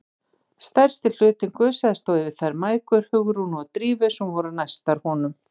Stærsti hlutinn gusaðist þó yfir þær mæðgur, Hugrúnu og Drífu, sem voru næstar honum.